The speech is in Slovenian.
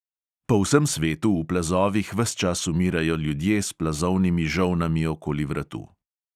Po vsem svetu v plazovih ves čas umirajo ljudje s plazovnimi žolnami okoli vratu.